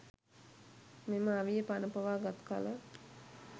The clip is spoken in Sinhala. මෙම අවිය පණ පොවා ගත් කල